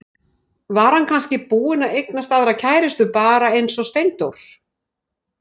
Var hann kannski búinn að eignast aðra kærustu, bara eins og Steindór?